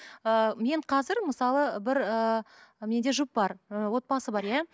ыыы мен қазір мысалы бір ыыы менде жұп бар ыыы отбасы бар иә